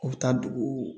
U bɛ taa dugu